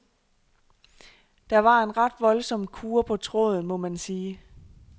Der var en ret voldsom kurre på tråden, må man sige.